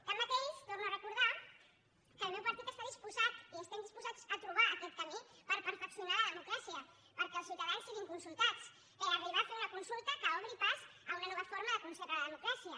tanmateix torno a recordar que el meu partit està disposat i estem disposats a trobar aquest camí per perfeccionar la democràcia perquè els ciutadans siguin consultats per arribar a fer una consulta que obri pas a una nova forma de concebre la democràcia